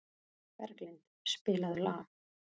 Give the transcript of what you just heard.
Berglind, spilaðu lag.